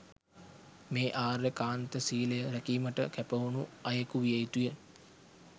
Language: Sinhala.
මේ ආර්ය කාන්ත සීලය රැකීමට කැපවුණු අයෙකු විය යුතුය.